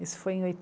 Isso foi em